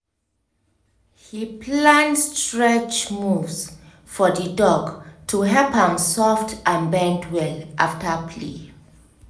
he plan stretch moves for the dog to help am soft and bend well after play